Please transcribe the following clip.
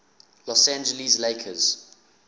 los angeles lakers